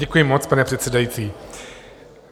Děkuji moc, pane předsedající.